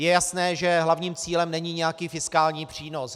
Je jasné, že hlavním cílem není nějaký fiskální přínos.